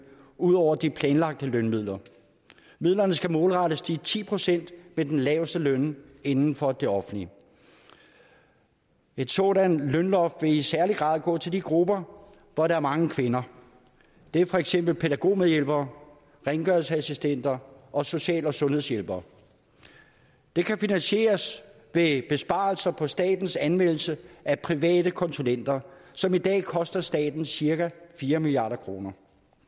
ud over de planlagte lønmidler midlerne skal målrettes de ti procent med den laveste løn inden for det offentlige et sådant lønloft vil i særlig grad gå til de grupper hvor der er mange kvinder det er for eksempel pædagogmedhjælpere rengøringsassistenter og social og sundhedshjælpere det kan finansieres ved besparelser på statens anvendelse af private konsulenter som i dag koster staten cirka fire milliard kroner